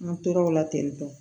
An tora o la ten tɔ